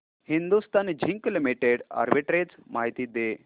Hindustan zinc limited arbitrage माहिती दे